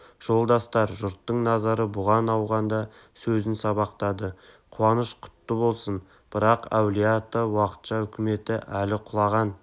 жолдастар жұрттың назары бұған ауғанда сөзін сабақтады қуаныш құтты болсын бірақ әулие-ата уақытша үкіметі әлі құлаған